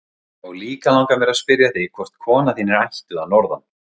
og líka langar mér að spyrja þig hvort kona þín er ættuð að Norðan?